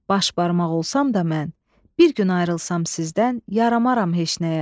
Baş barmaq olsam da mən, bir gün ayrılsam sizdən, yaramaram heç nəyə.